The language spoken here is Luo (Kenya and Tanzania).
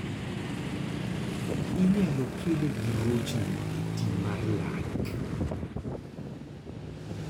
inyalo kele gi rochni e tii mar lak